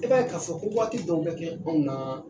E b'a ye ka fɔ waati dɔ be kɛ anw na